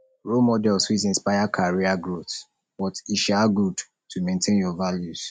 role models fit inspire career growth but e um good to maintain your values